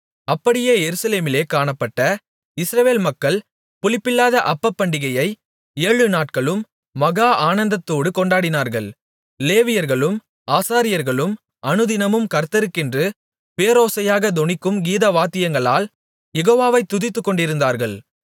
அப்படியே எருசலேமிலே காணப்பட்ட இஸ்ரவேல் மக்கள் புளிப்பில்லாத அப்பப்பண்டிகையை ஏழுநாட்களும் மகா ஆனந்தத்தோடு கொண்டாடினார்கள் லேவியர்களும் ஆசாரியர்களும் அனுதினமும் கர்த்தருக்கென்று பேரோசையாகத் தொனிக்கும் கீதவாத்தியங்களால் யெகோவாவை துதித்துக்கொண்டிருந்தார்கள்